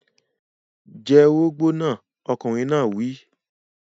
Jẹ orógbó náà! Ọkùnrin náà wí.